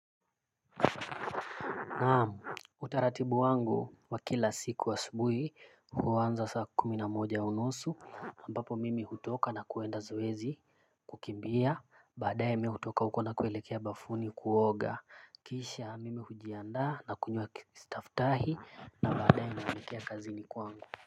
Naam, utaratibu wangu wa kila siku asubuhi huanza saa kumi na moja unusu ambapo mimi hutoka na kwenda zoezi kukimbia. Baadae mimi hutoka huko na kuelekea bafuni kuoga kisha mimi hujianda na kunywa stafutahi na baadae naelekea kazini kwangu.